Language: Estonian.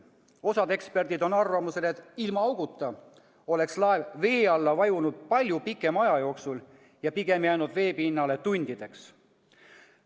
Osa eksperte on arvamusel, et ilma auguta oleks laev vee alla vajunud palju pikema aja jooksul ja pigem jäänud veepinnale tundideks.